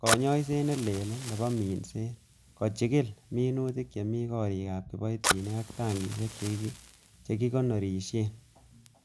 konyoisiet ne leel nebo minset, kochigil minutik chemi, gorikab kiboitinik ak tankisiek chekikonorishien.